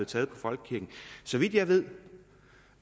taget på folkekirken så vidt jeg ved